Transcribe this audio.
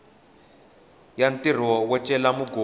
ya ntirho wo cela mugodi